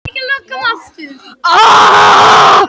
Og sá eini sem stendur í móti er faðir minn!